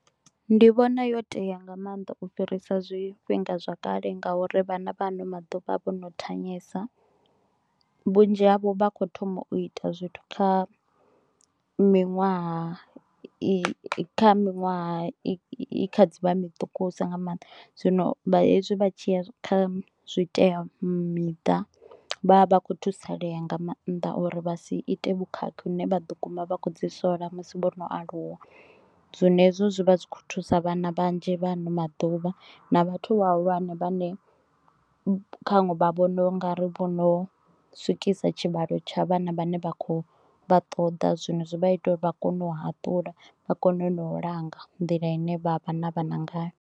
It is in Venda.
Ndi vhona yo tea nga maanḓa u fhirisa zwifhinga zwakale ngauri vhana vha ano maḓuvha vho no thanyesa, vhunzhi havho vha kho thoma u ita zwithu kha miṅwaha i kha miṅwaha i kha dzi vha miṱukusa nga maanḓa, zwino vha hezwi vha tshi ya kha zwitea miṱa vha vha kho thusalea nga mannḓa uri vha si ite vhukhakhi hune vha ḓo guma vha kho ḓi sola musi vho no aluwa. Zwino hezwo zwivha zwikho thusa vhana vhanzhi vha ano maḓuvha na vhathu vhahulwane vhane kha vhaṅwe khaṅwe vha vhona ungari vho no swikisa tshivhalo tsha vhana vhane vha kho vha ṱoḓa zwino zwi vha ita uri vha kone u haṱula vha kone na u langa nḓila ine vha vha na vhana ngayo.